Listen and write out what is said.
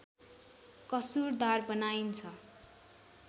कसुरदार बनाइन्छ